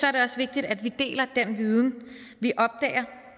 er det også vigtigt at vi deler den viden vi opdager